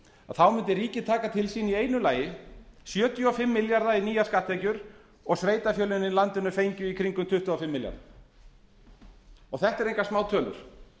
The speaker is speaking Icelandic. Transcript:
þá mundi ríkið taka til sín í einu lagi sjötíu og fimm milljarða í nýjar skatttekjur og sveitarfélögin í landinu í fengju kringum tuttugu og fimm milljarða þetta eru engar smátölur